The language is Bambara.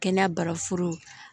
Kɛnɛya barafuru